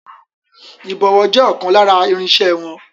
Ìbọ̀wọ́ je ọkàn lára irinsẹ́ wọn.